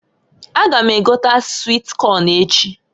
A ga m egota swit Kọn echi.